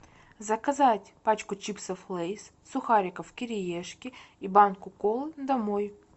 заказать пачку чипсов лейс сухариков кириешки и банку колы домой